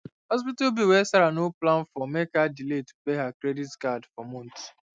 hospital bill wey sarah no plan for make her delay to pay her credit card for months